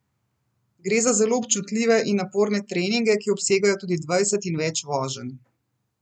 Gre za zelo občutljive in naporne treninge, ki obsegajo tudi dvajset in več voženj.